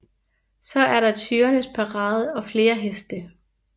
Så er der tyrenes parade og flere heste